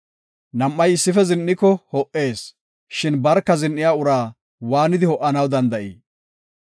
Nam7ay issife zin7iko ho77ees; shin barka zin7iya uraa waanidi ho77anaw danda7ii?